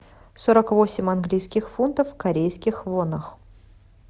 сорок восемь английских фунтов в корейских вонах